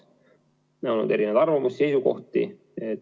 Meil on olnud erinevaid arvamusi ja seisukohti.